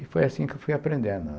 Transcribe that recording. E foi assim que eu fui aprendendo.